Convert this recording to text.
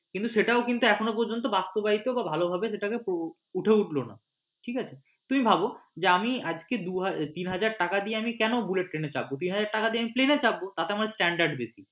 সেটাও কিন্তু এখনও পর্যন্ত বাস্তবায়িত বাঃ ভালোভাবে সেটাকে উঠে উটলো না ঠিক আছে তুমি ভাবো যে আজকে আমি দুহাজার তিনহাজার টাকা দিয়ে আমি কেন bullet train এ চাপব তাইনা? তিনহাজার টাকা দিয়ে আমি plane এ চাপব তাতে আমার standard বেশী।